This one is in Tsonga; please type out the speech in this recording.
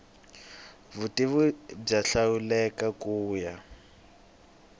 vutivi byo hlawuleka ku ya